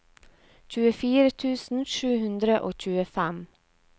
tjuefire tusen sju hundre og tjuefem